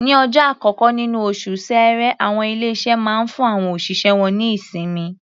Ní ọjọ́ àkọ́kọ́ níní oṣù Ṣẹẹrẹ, àwọn ilé-iṣé máa ń fún àwọn òṣìṣẹ́ wọ́n ní ìsinmi.